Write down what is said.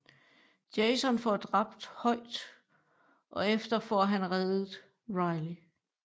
Jason får dræbt Hoyt og efter får han reddet Riley